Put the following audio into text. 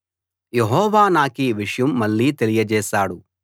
యెహోవా నాకీ విషయం మళ్ళీ తెలియచేశాడు